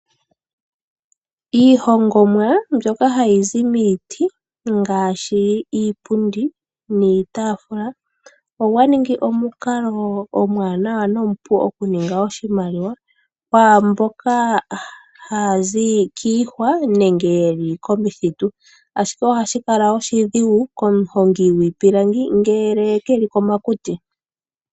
Iihongomwa mbyoka hayi zi miiti ngaashi iipundi niitaafula, ogwaningi omukalo omwanawa nomupu oku ninga oshimaliwa kwaamboka ha ya zi kiihwa nenge ye li komithitu. Ashike oha shi kala oshidhigu komuhongi gwiipilangi ngele keli komakuti.